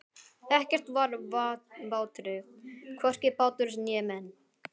Ekkert var vátryggt, hvorki bátur né menn.